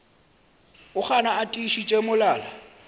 o gana a tiišitše molala